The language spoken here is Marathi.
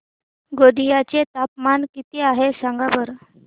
गोंदिया चे तापमान किती आहे सांगा बरं